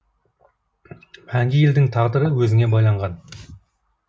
мәңгі елдің тағдыры өзіңе байланған